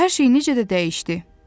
Hər şey necə də dəyişdi.